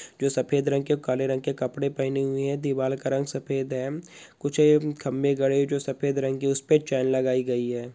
जो सफ़ेद रंग के काले रंग के कपड़े पहने हुए है दीवाल का रंग सफ़ेद है कुछ एम्-खम्भे गड़े जो सफ़ेद रंग के उसमे चेयर लगाई गयी है।